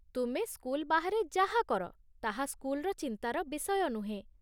ତୁମେ ସ୍କୁଲ ବାହାରେ ଯାହା କର ତାହା ସ୍କୁଲର ଚିନ୍ତାର ବିଷୟ ନୁହେଁ।